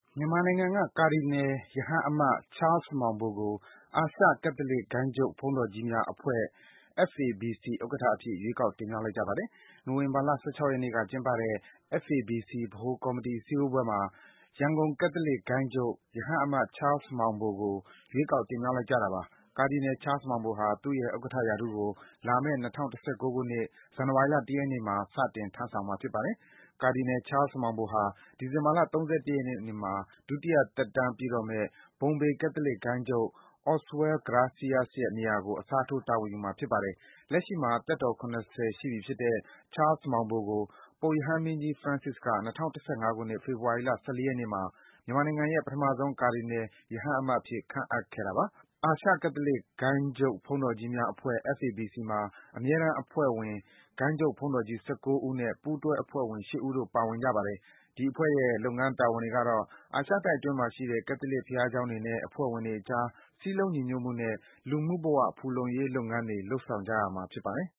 မြန်မာနိုင်ငံက ကာဒီနယ် ရဟန်းအမတ် Charles Maung Bo ကို အာရှ ကက်သလစ်ဂိုဏ်းချုပ်ဘုန်းတော်ကြီးများအဖွဲ့ FABC ဥက္ကဋ္ဌအဖြစ် ရွေးကောက် တင်မြောက်လိုက်ကြပါတယ်။ နိုဝင်ဘာလ ၁၆ ရက်နေ့ ကျင်းပတဲ့ FABC ဗဟိုကော်မီတီ စည်းဝေးပွဲမှာ ရန်ကုန်ကက်သလစ်ဂိုဏ်းချုပ် ရဟန်းအမတ် Charles Maung Bo ကို ရွေးကောက် တင်မြောက်လိုက်ကြတာပါ။ ကာဒီနယ် Charles Maung Bo ဟာ သူ့ရဲ့ ဥက္ကဋ္ဌ ရာထူးကို လာမယ့် ၂၀၁၉ ခုနှစ်၊ ဇန်နဝါရီလ ၁ ရက်နေ့မှာ စတင် ထမ်းဆောင်မှာ ဖြစ်ပါတယ်။ ကာဒီနယ် Charles Maung Bo ဟာ ဒီဇင်ဘာလ ၃၁ ရက်နေ့မှာ ဒုတိယသက်တမ်းပြည့်တော့မယ့် ဘုံဘေကက်သလစ်ဂိုဏ်းချုပ် Oswald Bracias ရဲ့ နေရာကို အစားထိုး တာဝန်ယူမှာ ဖြစ်ပါတယ်။ လက်ရှိမှာ သက်တော် ၇၀ ရှိပြီဖြစ်တဲ့ Charles Maung Bo ကို ပုပ်ရဟန်းမင်းကြီး Francis က ၂၀၁၅ ခုနှစ်၊ ဖေဖော်ဝါရီလ ၁၄ ရက်နေ့မှာ မြန်မာနိုင်ငံရဲ့ ပထမဆုံး ကာဒီနယ် ရဟန်းအမတ်အဖြစ် ခန့်အပ်ခဲ့တာပါ။ အာရှ ကက်သလစ်ဂိုဏ်းချုပ်ဘုန်းတော်ကြီးများအဖွဲ့ FABC မှာ အမြဲတမ်းအဖွဲ့ဝင် ဂိုဏ်းအုပ်ဘုန်းတော်ကြီး ၁၉ ဦးနဲ့ ပူးတွဲ အဖွဲ့ဝင် ၈ ဦးတို့ ပါဝင်ပါတယ်။ ဒီအဖွဲ့ရဲ့ လုပ်ငန်းတာဝန်တွေကတော့ အာရှတိုက်အတွင်းမှာရှိတဲ့ ကက်သလစ်ဘုရားကျောင်းတွေနဲ့ အဖွဲ့ဝင်တွေအကြား စည်းလုံး ညီညွတ်မှုနဲ့ လူမှုဘ၀ ဖူလုံရေး လုပ်ငန်းတွေ လုပ်ဆောင်ရတာဖြစ်ပါတယ်။